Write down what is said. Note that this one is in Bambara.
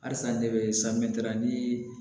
Halisa ne bɛ